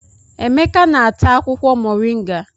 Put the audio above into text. Emeka na-ata akwukwo Mọrịnga.